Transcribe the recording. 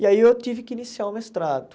E aí eu tive que iniciar o mestrado.